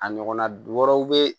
A ɲɔgɔnna du wɛrɛw be yen